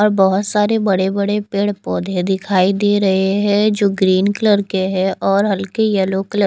और बहोत सारे बड़े बड़े पेड़ पौधे दिखाई दे रहे है जो ग्रीन कलर के हैं और हल्के येलो कल--